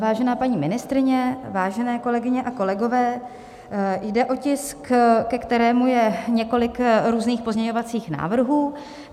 Vážená paní ministryně, vážené kolegyně a kolegové, jde o tisk, ke kterému je několik různých pozměňovacích návrhů.